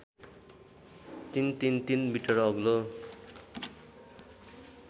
३३३ metre अग्लो